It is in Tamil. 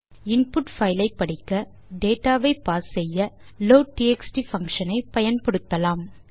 இன்புட் பைல் ஐ படிக்க டேட்டா வை பார்ஸ் செய்ய லோட்ட்எக்ஸ்ட் பங்ஷன் ஐ பயன்படுத்தலாம்